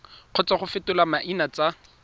kgotsa go fetola maina tsa